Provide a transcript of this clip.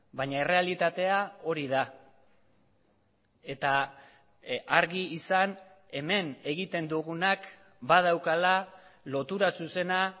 baina errealitatea hori da eta argi izan hemen egiten dugunak badaukala lotura zuzena